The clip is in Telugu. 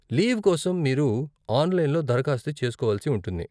లీవ్ కోసం మీరు ఆన్లైన్లో దరఖాస్తు చేస్కోవలసి ఉంటుంది.